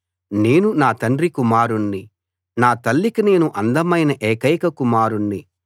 నేను నా తండ్రి కుమారుణ్ణి నా తల్లికి నేను అందమైన ఏకైక కుమారుణ్ణి